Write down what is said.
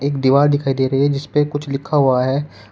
एक दिवार दिखाई दे रही है जिसपे कुछ लिखा हुआ है।